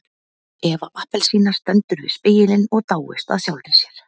Eva appelsína stendur við spegilinn og dáist að sjálfri sér.